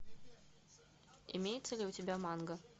имеется ли у тебя манга